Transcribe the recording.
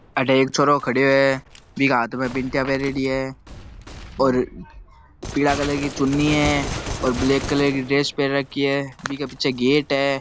अठे एक छोराे खड़यो है बीके हाथ में बिंटिया पहरेड़ी है और पीला कलर की चुन्नी है और ब्लैक कलर की ड्रेस पहर रखी है बीके पीछे गेट है।